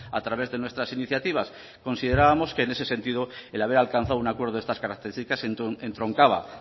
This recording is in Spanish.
a través de nuestras iniciativas considerábamos que en ese sentido el haber alcanzado un acuerdo de estas características entroncaba